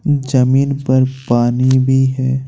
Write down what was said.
जमीन पर पानी भी है।